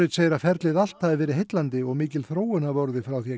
segir að ferlið allt hafi verið heillandi og mikil þróun hafi orðið frá því